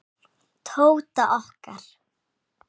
Tóta okkar.